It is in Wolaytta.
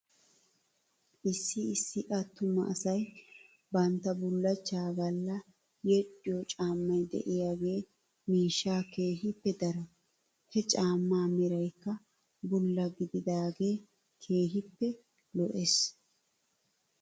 Issi issi attuma asay bantta bullachchaa galla yedhdhiyoo caammay de'iyaagee miishshaa keehippe daro. He caammaa meraykka bulla gididaagee keehippe lo'es.